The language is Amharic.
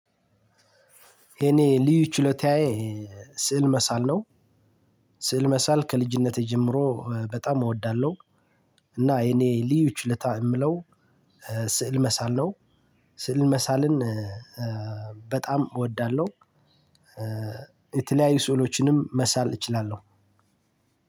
የኔ ልዩ ችሎታዬ ስዕል መሳል ነው። ስዕል መሳል ከልጅነቴ ጀምሮ በጣም እወዳለሁ። እና የኔ ልዩ ችሎታ የምለው ስዕል መሳል ነው። ስዕል መሳልን በጣም እወዳለሁ። የተለያዩ ስዕሎችንም መሳል እችላለሁ።